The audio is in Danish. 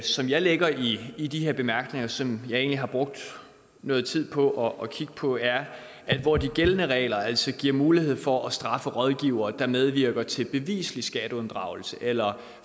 som jeg lægger i i de her bemærkninger som jeg egentlig har brugt noget tid på at kigge på er at hvor de gældende regler altså giver mulighed for at straffe rådgivere der medvirker til beviselig skatteunddragelse eller